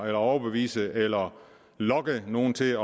eller overbevise eller lokke nogle til